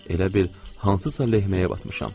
Elə bil hansısa lehməyə batmışam.